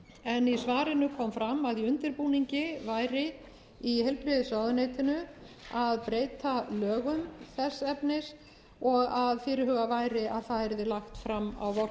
en í svarinu kom fram að í undirbúningi væri í heilbrigðisráðuneytinu að breyta lögum þess efnis og að fyrirhugað væri að það yrði lagt fram á